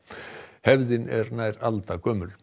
hefðin er nær aldargömul